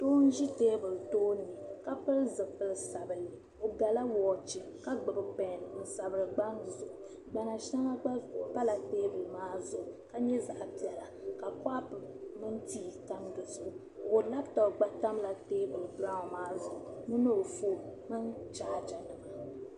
Doo n ʒe teebuli tooni ka pili zipili sabinli bɛ gala woochi ka gbubi pɛɛn n sabiri gbaŋ zuɣu gbana shɛŋa gba pala teebuli maa zuɣu ka nye zaɣpiɛla ka paapu mini tii tam di zuɣu wanaptop gba tamla teebuli biraawu maa zuɣu ni o fone mini chaajanimamini.